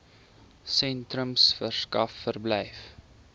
sentrums verskaf verblyf